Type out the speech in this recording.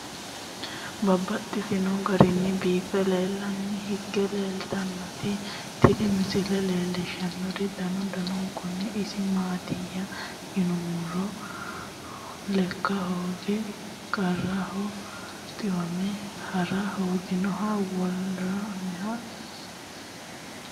Babaxxittinno garinni biiffe aleenni hige leelittannotti tinni misile lelishshanori danu danunkunni isi maattiya yinummoro lekka hooge qaraminnoha, xiwamme hara hooginnoha wore milinsanitte